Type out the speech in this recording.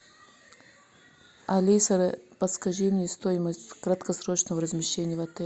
алиса подскажи мне стоимость краткосрочного размещения в отеле